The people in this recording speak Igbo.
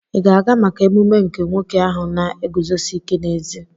Ị ga-aga maka emume nke nwoke ahụ na-eguzosi ike n'ezi?